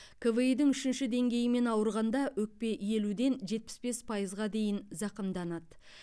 кви дің үшінші деңгейімен ауырғанда өкпе елуден жетпіс бес пайызға дейін зақымданады